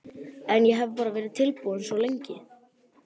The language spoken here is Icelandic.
En ég hef bara verið tilbúinn svo lengi.